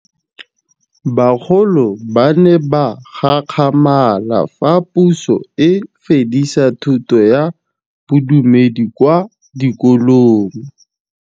Bagolo ba ne ba gakgamala fa Pusô e fedisa thutô ya Bodumedi kwa dikolong.